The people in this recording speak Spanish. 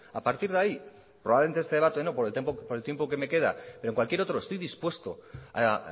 a partir de ahí probablemente en este debate no por el tiempo que me queda pero en cualquier otro estoy dispuesto a